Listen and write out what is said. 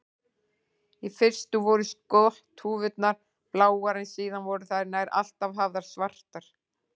Í fyrstu voru skotthúfurnar bláar en síðar voru þær nær alltaf hafðar svartar.